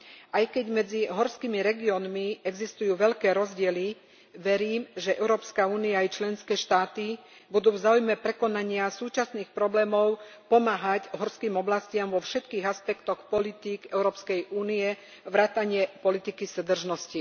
Aj keď medzi horskými regiónmi existujú veľké rozdiely, verím, že Európska únia a jej členské štáty budú v záujme prekonania súčasných problémov pomáhať horským oblastiam vo všetkých aspektoch politík EÚ vrátane politiky súdržnosti.